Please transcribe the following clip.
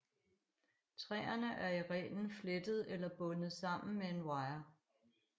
Træerne er i reglen flettet eller bundet sammen med en wire